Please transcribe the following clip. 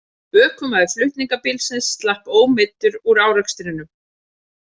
Ökumaður flutningabílsins slapp ómeiddur úr árekstrinum